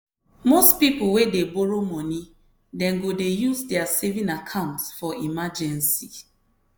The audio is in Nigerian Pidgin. most people wey dey borrow money dem go use their saving account for emergency.